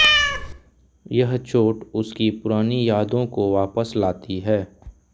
यह चोट उसकी पुरानी यादों को वापस लाती है